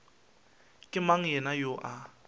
ke mang yena yoo a